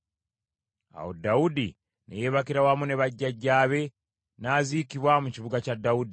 Awo Dawudi ne yeebakira wamu ne bajjajjaabe, n’aziikibwa mu kibuga kya Dawudi.